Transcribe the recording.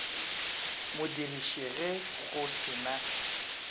modiriši ge go se na